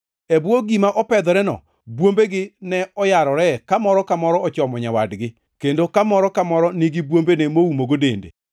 E bwo gima opedhoreno, bwombegi ne oyarore ka moro ka moro ochomo nyawadgi, kendo ka moro ka moro nigi bwombene moumogo dende.